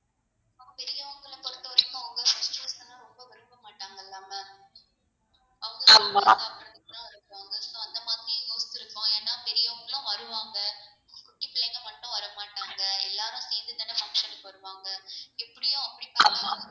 ஆமா